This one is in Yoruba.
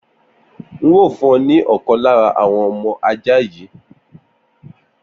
N óò fún ọ ní ọ̀kan lára àwọn ọmọ ajá mi